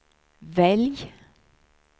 välj